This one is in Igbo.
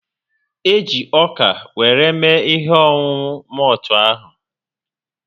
E ji ọka were mme ihe ọṅụṅụ moltu ahu